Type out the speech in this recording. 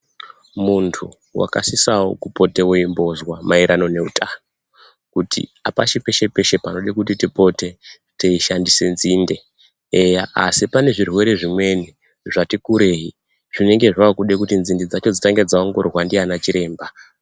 Muntu wakasisawo kupotewo weimbozwa maererano nehutano kuti hapashi peshe-peshe pekuti tipote teishandise nzinde, eya asi pane zvirwere zvimweni zvati kurei, zvinenge zvakude kuti nzinde dzacho dzitange dzaongororwa ndiana chiremba.